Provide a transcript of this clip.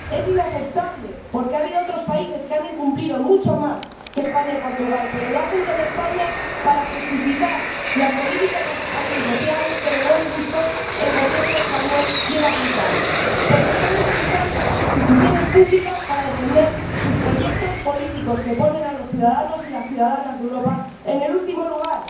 Es inaceptable porque ha habido otros países que han incumplido mucho más que España y Portugal, pero lo hacen con España para justificar las políticas antisociales que de buen gusto el Gobierno español quiere aplicar, porque están utilizando las instituciones públicas para defender sus proyectos políticos, que ponen a los ciudadanos y las ciudadanas de Europa en el último lugar.